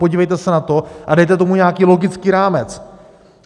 Podívejte se na to a dejte tomu nějaký logický rámec.